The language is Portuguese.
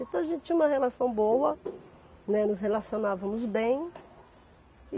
Então a gente tinha uma relação boa, né, nos relacionávamos bem. E